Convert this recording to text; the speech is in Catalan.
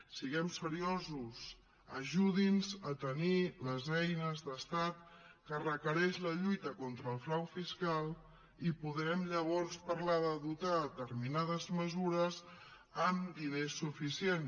siguem seriosos ajudi’ns a tenir les eines d’estat que requereix la lluita contra el frau fiscal i podrem llavors parlar de dotar determinades mesures amb diner suficient